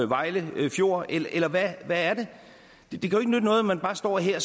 vejle fjord eller hvad er det det kan jo noget at man bare står her